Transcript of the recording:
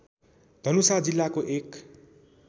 धनुषा जिल्लाको एक